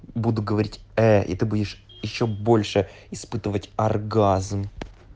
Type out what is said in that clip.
буду говорить и ты будешь ещё больше испытывать оргазм